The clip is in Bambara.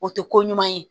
O tɛ ko ɲuman ye